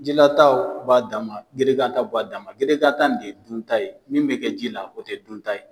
Jilata o b'a dan ma gerekan ta b'a dan ma gerekan ta in ne ye dunta ye min bɛ kɛ ji la o tɛ dun ta ye.